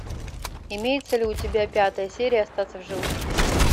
имеется ли у тебя пятая серия остаться в живых